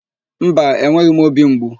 Mba, enweghị m óbì mgbu.